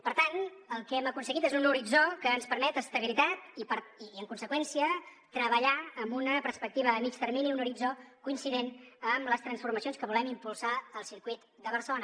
per tant el que hem aconseguit és un horitzó que ens permet estabilitat i en conseqüència treballar amb una perspectiva a mitjà termini un horitzó coincident amb les transformacions que volem impulsar al circuit de barcelona